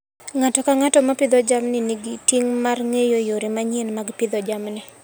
Ng'ato ka ng'ato ma pidho jamni, nigi ting' mar ng'eyo yore manyien mag pidho jamni.